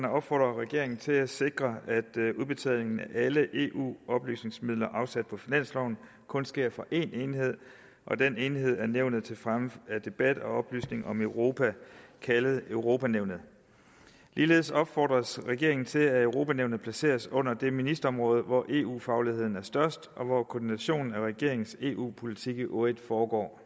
opfordrer regeringen til at sikre at udbetaling af alle eu oplysningsmidler afsat på finansloven kun sker for én enhed og den enhed er nævnet til fremme af debat og oplysning om europa kaldet europa nævnet ligeledes opfordres regeringen til at europa nævnet placeres under det ministerområde hvor eu fagligheden er størst og hvor koordinationen af regeringens eu politik i øvrigt foregår